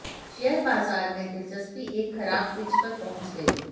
share बाजार में दिलचस्पी एक खराब पिच पर पहुंच गई